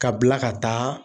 Ka bila ka taa